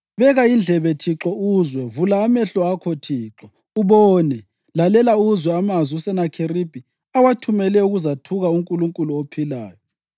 Beka indlebe, Thixo, uzwe; vula amehlo akho Thixo, ubone. Lalela uzwe amazwi uSenakheribhi awathumele ukuzathuka uNkulunkulu ophilayo.